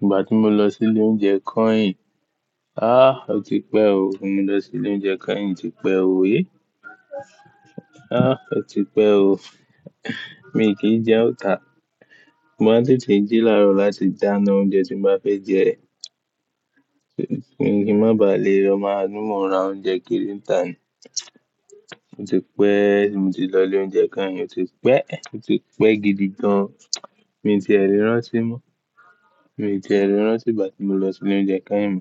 Ìgbà tí mo lọ sí ilé oúnjẹ kain, a ó ti pẹ́ o. Mo lọ sí ilé oúnjẹ kain ti pẹ́ o he. A ó ti pẹ́ o. Mi kì í jẹ́ Òǹtà. Mo máa ń tètè jí láàárọ̀ láti dáná oúnjẹ tí mo bá fẹ́ jẹ. Mi ò kí ń má bà lé rọ̀ máa múra oúnjẹ kiri ńtà ni. Ó ti pẹ́, mo ti lọ ilé oúnjẹ kain, ó ti pẹ́, ó ti pẹ́ gidi gan. Mi ò tíì rí ránṣẹ́ mọ́. Mi ò tíì rí ránṣẹ́ ìgbà tí mo lọ sí ilé oúnjẹ kain.